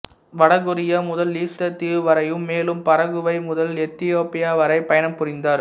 வட கொரியா முதல் ஈஸ்டர் தீவு வரையும் மேலும் பரகுவை முதல் எத்தியோப்பியா வரை பயணம் புரிந்தார்